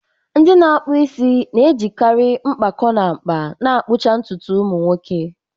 Ndị na-akpụ isi na-ejikarị mkpakọ na mkpa ka akpụcha ntutu ụmụ nwoke.